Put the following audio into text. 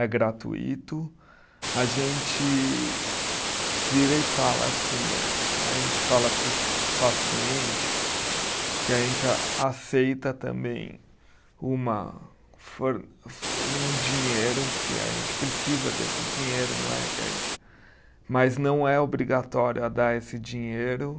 é gratuito, a gente vira e fala assim, a a gente fala para os pacientes que a gente a aceita também uma for fo, um dinheiro, que a gente precisa desse dinheiro, não é que a gente, mas não é obrigatório a dar esse dinheiro.